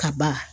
Kaba